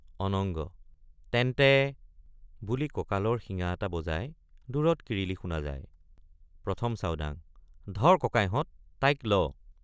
অনঙ্গ—তেন্তে বুলি ককালৰ শিঙা এটা বজায় দূৰত কিৰিলি শুনা যায় ১ম চাওডাঙ—ধৰ ককাইহত তাইক ল।